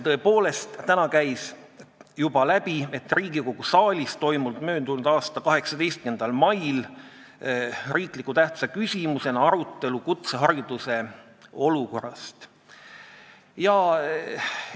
Tõepoolest, täna käis siit juba läbi, et Riigikogu saalis toimus möödunud aasta 18. mail riiklikult tähtsa küsimusena kutsehariduse olukorra arutelu.